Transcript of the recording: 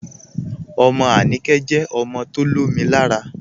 Ọmọ Anikẹ̀ jẹ ọmọ tó lọ̀mì làárà.